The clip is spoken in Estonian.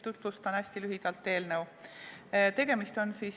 Tutvustan hästi lühidalt eelnõu.